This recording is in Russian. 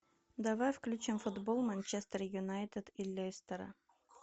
давай включим футбол манчестер юнайтед и лестера